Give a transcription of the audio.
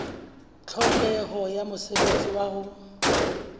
tlhokeho ya mosebetsi wa ho